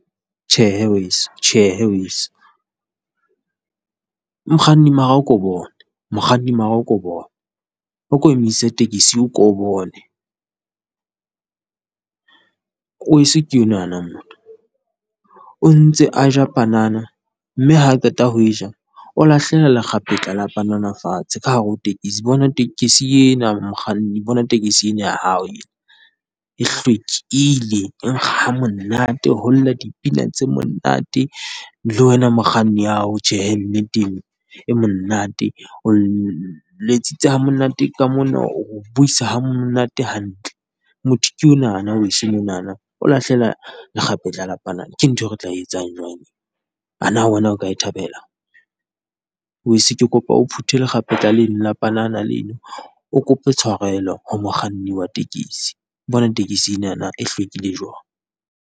Tjhehe weso tjhe he weso, mokganni mara a ko bone mokganni mara a ko bone. O ko emise tekesi o ko o bone. Weso ke onana motho o ntse a ja panana, mme ha qeta ho e ja o lahlela lekgapetla la panana fatshe ka hare ho tekesi. Bona tekesi ena mokganni bona tekesi ena ya hao e, e hlwekile e nkga ha monate, ho lla dipina tse monate le wena mokganni ao tjhehe nneteng, e monate. O letsitse ha monate. Ka mona o re buisa ha monate hantle, motho ke onana weso monana, o lahlela lekgapetla la panana, ke ntho e re tla etsang jwang? A na wena o ka e thabela? Weso ke kopa o phuthe lekgapetla leno la panana leno, o kope tshwarelo ho mokganni wa tekesi, bona tekesi enana e hlwekile jwang.